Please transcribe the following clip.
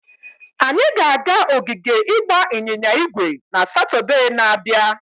Anyị ga-aga ogige ịgba ịnyịnya ígwè na Satọde na-abịa.